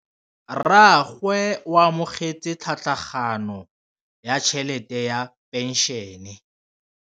Rragwe o amogetse tlhatlhaganyô ya tšhelête ya phenšene.